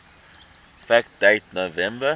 fact date november